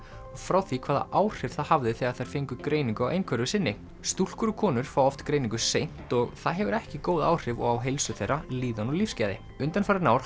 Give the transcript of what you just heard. frá því hvaða áhrif það hafði þegar þær fengu greiningu á einhverfu sinni stúlkur og konur fá oft greiningu seint og það hefur ekki góð áhrif á heilsu þeirra líðan og lífsgæði undanfarin ár